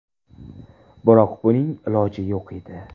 Biroq buning iloji yo‘q edi.